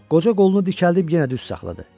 Qoca qolunu dikəldib yenə düz saxladı.